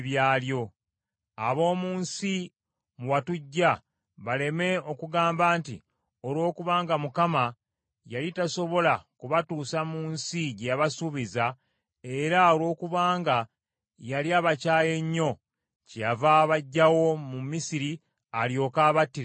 Ab’omu nsi mwe watuggya baleme okugamba nti, “Olwokubanga Mukama yali tasobola kubatuusa mu nsi gye yabasuubiza, era olwokubanga yali abakyaye nnyo, kyeyava abaggyayo mu Misiri alyoke abattire mu ddungu.”